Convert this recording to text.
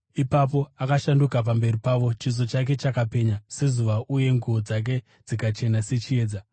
Ipapo akashanduka pamberi pavo. Chiso chake chakapenya sezuva uye nguo dzake dzikachena sechiedza.